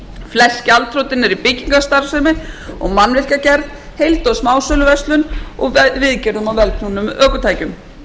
flest gjaldþrotin eru í byggingarstarfsemi og mannvirkjagerð heild og smásöluverslun og viðgerðum á vélknúnum ökutækjum